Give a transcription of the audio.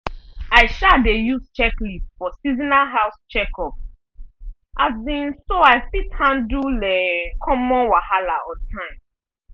i um dey use checklist for seasonal house checkup um so i fit handle um common wahala on time.